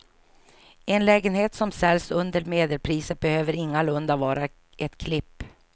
En lägenhet som säljs under medelpriset behöver ingalunda vara ett klipp.